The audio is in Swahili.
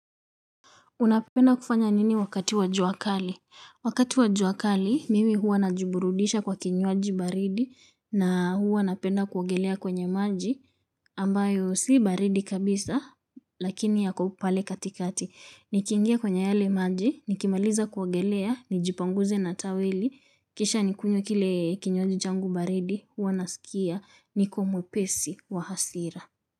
Unapenda kufanya nini wakati wa jua kali? Wakati wa jua kali, mimi huwa najiburudisha kwa kinywaji baridi na huwa napenda kuogelea kwenye maji ambayo si baridi kabisa lakini yako pale katikati. Nikiingia kwenye yale maji, nikimaliza kuogelea, nijipanguze na taweli, kisha nikunywe kile kinywaji changu baridi huwa nasikia niko mwepesi wa hasira.